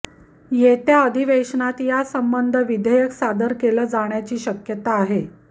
येत्या अधिवेशनात यासंबंध विधेयक सादर केलं जाण्याची शक्यता आहे